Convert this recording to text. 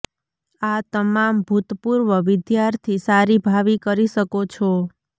આ તમામ ભૂતપૂર્વ વિદ્યાર્થી સારી ભાવિ કરી શકો છો